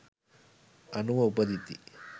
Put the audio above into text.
අනුව උපදිති.